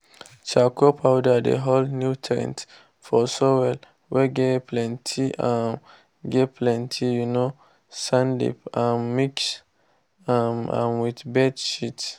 charcoal powder dey hold nutrients for soil whey get plenty um get plenty um sandif you um mix um am with bird shits.